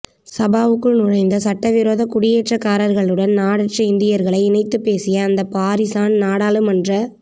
சபாவுக்குள் நுழைந்த சட்டவிரோத குடியேற்றக்காரர்களுடன் நாடற்ற இந்தியர்களை இணைத்துப் பேசிய அந்த பாரிசான் நாடாளுமன்ற